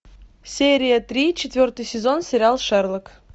серия три четвертый сезон сериал шерлок